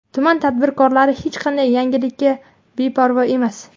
Tuman tadbirkorlari hech qanday yangilikka beparvo emas.